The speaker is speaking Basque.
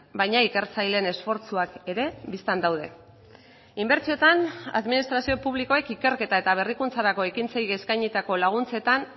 baina ikertzaileen esfortzuak ere bistan daude inbertsioetan administrazio publikoek ikerketa eta berrikuntzarako ekintzei eskainitako laguntzetan